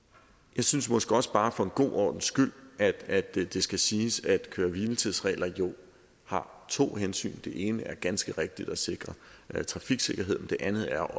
jeg synes måske også bare for god ordens skyld at det skal siges at køre hvile tids regler jo har to hensyn det ene er ganske rigtigt at sikre trafiksikkerheden det andet er